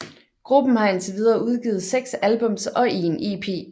Gruppen har indtil videre udgivet seks albums og en EP